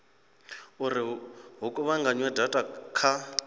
uri hu kuvhunganywe data kha